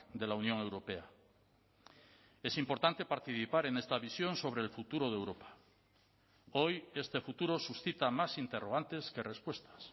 de la unión europea es importante participar en esta visión sobre el futuro de europa hoy este futuro suscita más interrogantes que respuestas